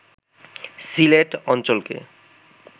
সিলেট অঞ্চলকে